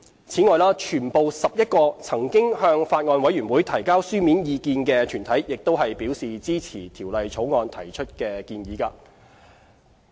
此外，全部11個曾向法案委員會提交書面意見的團體亦表示支持《條例草案》提出的建議。